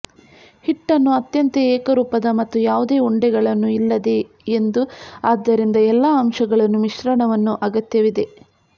ಹಿಟ್ಟನ್ನು ಅತ್ಯಂತ ಏಕರೂಪದ ಮತ್ತು ಯಾವುದೇ ಉಂಡೆಗಳನ್ನೂ ಇಲ್ಲದೆ ಎಂದು ಆದ್ದರಿಂದ ಎಲ್ಲಾ ಅಂಶಗಳನ್ನು ಮಿಶ್ರಣವನ್ನು ಅಗತ್ಯವಿದೆ